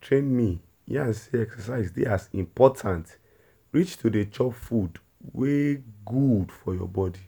train me yarn say exercise dey as important reach to dey chop food wey good for your body